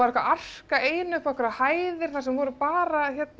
að arka ein upp á einhverjar hæðir þar sem var bara